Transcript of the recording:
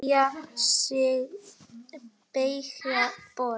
Teygja sig, beygja, bogra.